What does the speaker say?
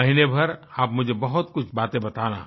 महीने भर आप मुझे बहुत कुछ बातें बताना